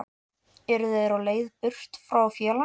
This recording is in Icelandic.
Eru þeir á leið burt frá félaginu?